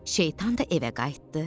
Şeytan da evə qayıtdı.